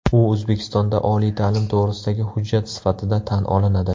U O‘zbekistonda oliy ta’lim to‘g‘risidagi hujjat sifatida tan olinadi.